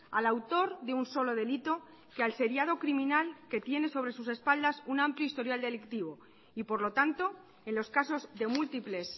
al autor de un solo delito que al seriado criminal que tiene sobre sus espaldas un amplio historial delictivo y por lo tanto en los casos de múltiples